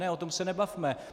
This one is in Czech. Ne, o tom se nebavme!